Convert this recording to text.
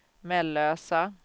Mellösa